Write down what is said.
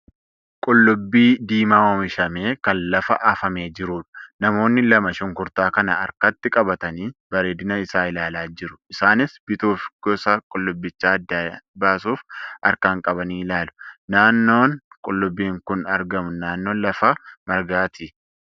qullubbii diimaa oomishamee kan lafa afamee jirudha. Namoonni lama shunkurtaa kana harkatti qabatanii bareedina isaa ilaalaa jiru isaanis bituuf gosa qullibichaa adda baasuuf harkaan qabanii ilaalu. Naannoon qullubbiin kun argamu naannoo lafa margaattidha.